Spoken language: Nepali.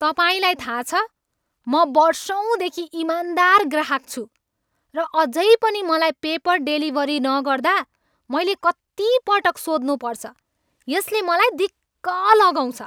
तपाईँलाई थाह छ, म वर्षौँदेखि ईमानदार ग्राहक छु, र अझै पनि मलाई पेपर डेलिभरी नगर्दा मैले कत्ति पटक सोध्नुपर्छ यसले मलाई दिक्क लगाउँछ।